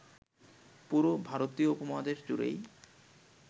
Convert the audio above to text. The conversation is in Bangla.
পুরো ভারতীয় উপমহাদেশ জুড়েই